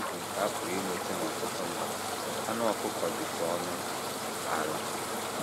N’ihi ịbụ nke a pụrụ inweta n’ọtụtụ mba, anụ ọkụkọ dịtụ ọnụ ala.